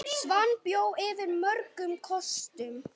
Svan bjó yfir mörgum kostum.